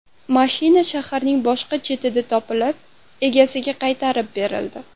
Mashina shaharning boshqa chetida topilib, egasiga qaytarib berildi.